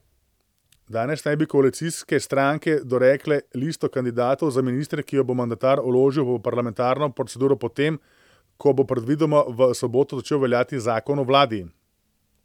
Danes naj bi koalicijske stranke dorekle listo kandidatov za ministre, ki jo bo mandatar vložil v parlamentarno proceduro po tem, ko bo predvidoma v soboto začel veljati zakon o vladi.